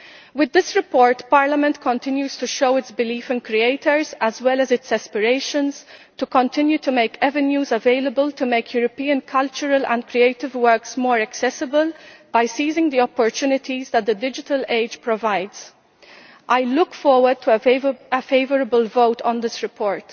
With this report, Parliament continues to show its belief in creators, as well as its aspirations to continue to make avenues available to make European cultural and creative works more accessible, by seizing the opportunities that the digital age provides. I look forward to a favourable vote on this report.